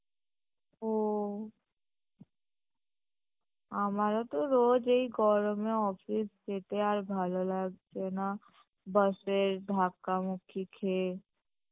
ও আমারও তো রোজ এই গরমে office যেতে আর ভালো লাগছে না Bus এর ধাক্কা মক্কি খেয়ে